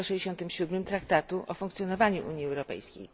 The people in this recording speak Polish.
167 Traktatu o funkcjonowaniu Unii Europejskiej.